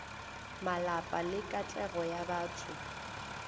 malapa le katlego ya batho